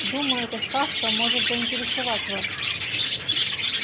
думаю эта сказка может заинтересовать вас